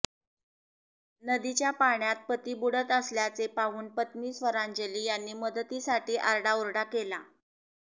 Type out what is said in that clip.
नदीच्या पाण्यात पती बुडत असल्याचे पाहून पत्नी स्वरांजली यांनी मदतीसाठी आरडा ओरडा केला